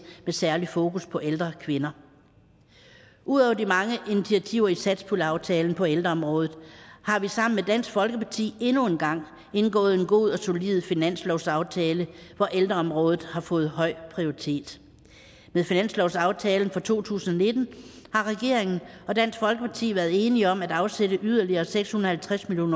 med særligt fokus på ældre kvinder ud over de mange initiativer i satspuljeaftalen på ældreområdet har vi sammen med dansk folkeparti endnu en gang indgået en god og solid finanslovsaftale hvor ældreområdet har fået høj prioritet med finanslovsaftalen for to tusind og nitten har regeringen og dansk folkeparti været enige om at afsætte yderligere seks hundrede